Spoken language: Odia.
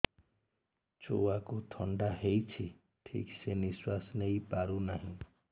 ଛୁଆକୁ ଥଣ୍ଡା ହେଇଛି ଠିକ ସେ ନିଶ୍ୱାସ ନେଇ ପାରୁ ନାହିଁ